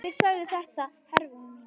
Þeir sögðu þetta, Hervör mín.